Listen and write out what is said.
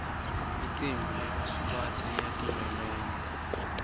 licembu lebasubatsi liyatilolonga